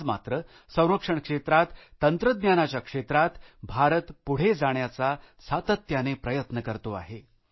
आज मात्र संरक्षण क्षेत्रात तंत्रज्ञानाच्या क्षेत्रात भारत पुढे जाण्याचा सातत्याने प्रयत्न करतो आहे